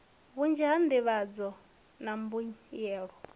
vhunzhi ha nḓivhadzo na mbuyelo